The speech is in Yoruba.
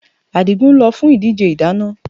Adigun lọ fún ìdíje ìdáná